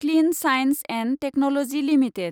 clean science and technology limited